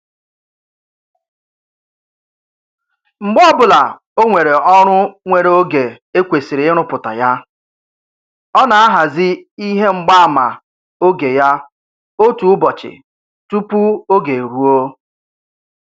Mgbe ọbụla o nwere ọrụ nwere oge e kwesịrị ịrụpụta ya, ọ na-ahazi ihe mgbaama oge ya otu ụbọchị tụpụ oge eruo